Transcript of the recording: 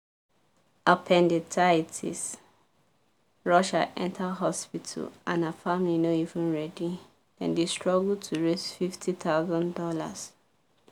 appendicitis rush her enter hospital and her family no even ready dem dey struggle to raise fifty thousand dollars."